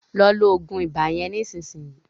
Lọ lo òògùn ibà yẹn nísìnyìí.